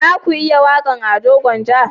Za ku iya waƙan Ado gwanja?